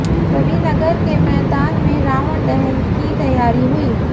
रविनगर के मैदान में रावण दहन की तैयारी हुई